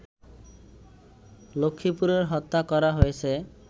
লক্ষ্মীপুরে হত্যা করা হয়েছে